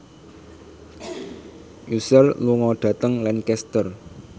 Usher lunga dhateng Lancaster